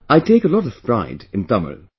I take a lot of pride in Tamil